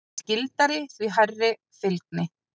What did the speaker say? Því skyldari, því hærri fylgni.